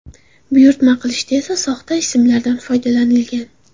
Buyurtma qilishda esa soxta ismlardan foydalanilgan.